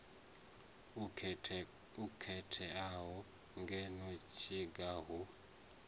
o khetheaho ngeno tshiga hu